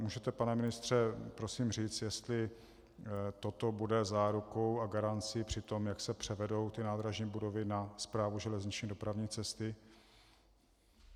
Můžete, pane ministře, prosím říct, jestli toto bude zárukou a garancí při tom, jak se převedou ty nádražní budovy na Správu železniční dopravní cesty?